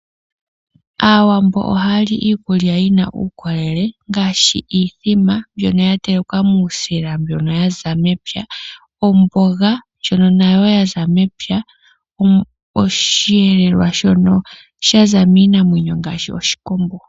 Aawambo ohaya li iikulya yina uukolele, ngaashi iimbombo mbyoka yatelekwa muusila waza mepya, omboga ndjoka nayo yaza mepya, osheelelwa shoka shaza miinamwenyo ngaashi oshikombo.